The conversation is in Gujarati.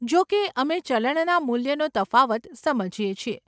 જો કે, અમે ચલણના મૂલ્યનો તફાવત સમજીએ છીએ.